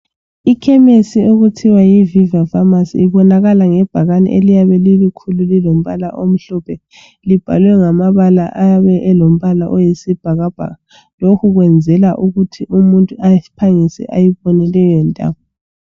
Ikhemesi okuthiwa yi "viva pharmacy " ibonakala ngebhakane iliyabe lili khulu lilombala omhlophe libhalwe ngamabala ayabe olombala oyisibhakabhaka, lokhu kwenzela ukuthi umuntu aphangise ayibone leyo ndawo.